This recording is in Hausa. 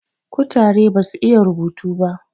kutare basu iya rubutu ba